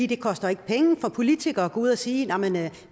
det koster ikke penge for politikere at gå ud og sige